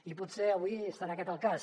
i potser avui serà aquest el cas